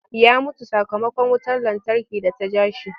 Ya mutu sakamakon wutar lantarki da ta ja shi.